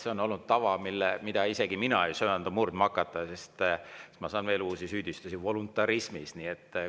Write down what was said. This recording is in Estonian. See on olnud tava, mida isegi mina ei söanda murdma hakata, sest siis ma saaksin veel uusi süüdistusi, näiteks süüdistataks mind voluntarismis.